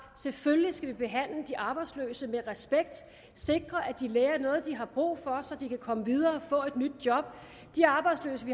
selvfølgelig skal vi behandle de arbejdsløse med respekt sikre at de lærer noget de har brug for så de kan komme videre og få et nyt job de arbejdsløse vi